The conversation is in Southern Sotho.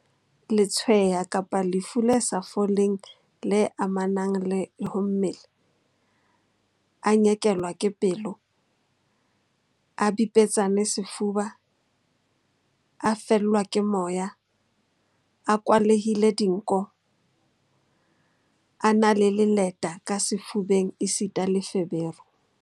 Letshweya kapa lefu le sa foleng le amanang le ho mmele, a nyekelwa ke pelo, a bipetsane sefuba, a fellwa ke moya, a kwalehile dinko, a na le leleta ka sefubeng esita le feberu.